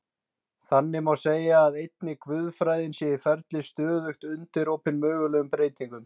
Þannig má segja að einnig guðfræðin sé í ferli, stöðugt undirorpin mögulegum breytingum.